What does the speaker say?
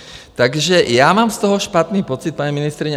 Takže já mám z toho špatný pocit, paní ministryně.